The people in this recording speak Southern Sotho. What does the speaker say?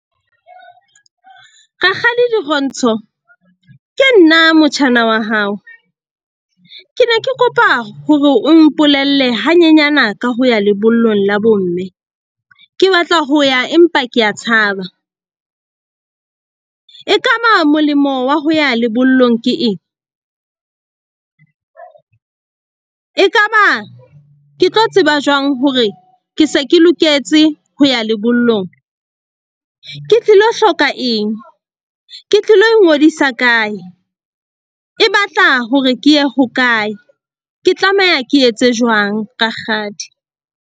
Rakgadi Dirontsho ke nna motjhana wa hao. Ke ne ke kopa hore o mpolelle hanyenyana ka ho ya lebollong la bomme. Ke batla ho ya empa ke a tshaba, e ka ba molemo wa ho ya lebollong ke eng? E ka ba ke tlo tseba jwang hore ke se ke loketse ho ya lebollong? Ke tlilo hloka eng? Ke tlilo ingodisa kae? E batla hore ke ye hokae? Ke tlameha ke etse jwang rakgadi?